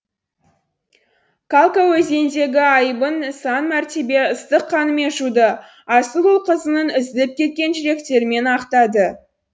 калка өзеніндегі айыбын сан мәртебе ыстық қанымен жуды асыл ұл қызының үзіліп кеткен жүректерімен ақтады